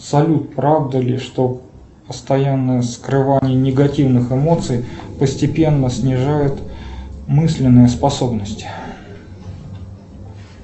салют правда ли что постоянное скрывание негативных эмоций постепенно снижает мысленные способности